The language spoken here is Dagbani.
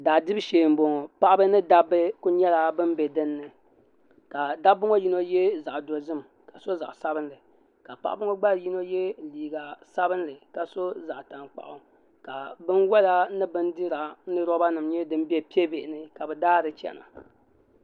Daa dibu shee m-bɔŋɔ paɣaba ni dabba ku nyɛla ban be din ni ka dabba ŋɔ yino ye zaɣ' dozim ka sɔ zaɣ' sabinli ka paɣaba ŋɔ gba yino ye liiga sabinli ka sɔ zaɣ' tankpaɣu ka binwɔla ni bindira ni roba nima nyɛ din be pie' bihi ni ka bɛ daari chana.